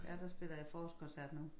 Ja der spiller jeg forårskoncert nu